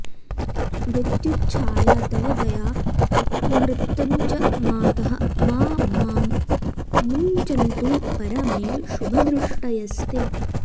मृत्युच्छाया तव दया त्वमृतञ्च मातः मा मां मुञ्चन्तु परमे शुभदृष्टयस्ते